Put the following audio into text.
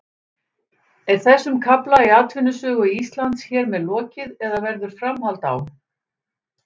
Er þessum kafla í atvinnusögu Íslands hér með lokið eða verður framhald á?